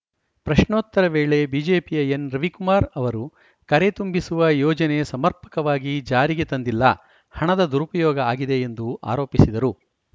ಪ್ರಶ್ನೋತ್ತರ ವೇಳೆ ಬಿಜೆಪಿಯ ಎನ್‌ ರವಿಕುಮಾರ್‌ ಅವರು ಕರೆ ತುಂಬಿಸುವ ಯೋಜನೆ ಸಮರ್ಪಕವಾಗಿ ಜಾರಿಗೆ ತಂದಿಲ್ಲ ಹಣದ ದುರುಪಯೋಗ ಆಗಿದೆ ಎಂದು ಆರೋಪಿಸಿದರು